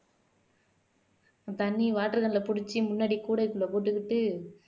தண்ணி water can ல புடிச்சு முன்னாடி கூடைக்குள்ள போட்டுகிட்டு